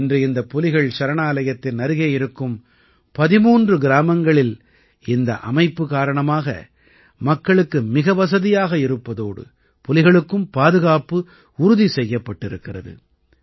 இன்று இந்த புலிகள் சரணாலயத்தின் அருகே இருக்கும் 13 கிராமங்களில் இந்த அமைப்பு காரணமாக மக்களுக்கு மிக வசதியாக இருப்பதோடு புலிகளுக்கும் பாதுகாப்பு உறுதி செய்யப்பட்டிருக்கிறது